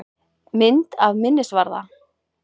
Mynd af minnisvarða.